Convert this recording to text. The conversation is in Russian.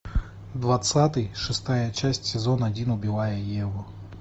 двадцатый шестая часть сезон один убивая еву